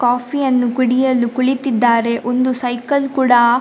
ಕಾಫಿಯನ್ನು ಕುಡಿಯಲು ಕುಳಿತಿದ್ದಾರೆ ಒಂದು ಸೈಕಲ್‌ ಕೂಡಾ --